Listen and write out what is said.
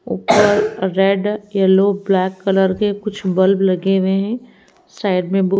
ऊपर red yellow black colour के कुछ बल्ब लगे हुए हैं साइड में--